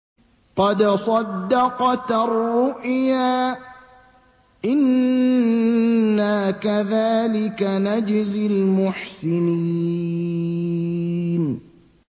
قَدْ صَدَّقْتَ الرُّؤْيَا ۚ إِنَّا كَذَٰلِكَ نَجْزِي الْمُحْسِنِينَ